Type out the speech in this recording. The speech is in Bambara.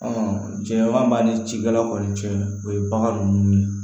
jɛman b'a ni cikɛlaw kɔni cɛ o ye bagan ninnu ye